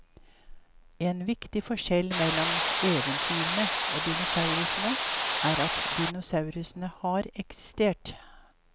En viktig forskjell mellom eventyrene og dinosaurene er at dinosaurene har eksistert.